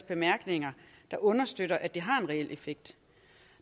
bemærkninger der understøtter at det har en reel effekt